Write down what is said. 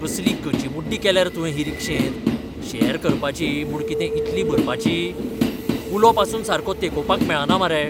कसली गचिमुड्डी केल्या रे तुवें ही रिक्षेंत? शॅर करपाची म्हूण कितें इतली भरपाची? कुलो पासून सारको तेंकोवपाक मेळना मरे.